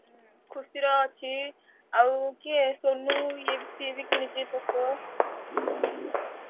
ଖୁସି ର ଅଛି ଆଉ କିଏ ସୋନୁ ଏଇଏ ସିଏ ବି କିଣିଛି Poco ।